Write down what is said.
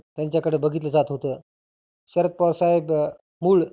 त्याच्या कड बघितलं जात होतं. शरद पवार साहेब मुळ